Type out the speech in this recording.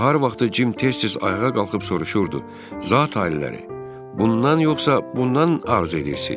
Nahar vaxtı Cim tez-tez ayağa qalxıb soruşurdu: "Zati-aliləri, bundan yoxsa bundan arzu edirsiniz?"